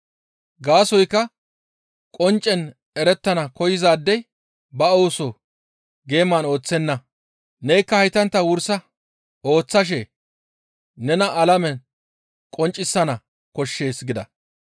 Gaasoykka qonccen erettana koyzaadey ba ooso geeman ooththenna. Nekka haytantta wursa ooththashe nena alamen qonccisana koshshees» gida.